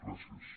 gràcies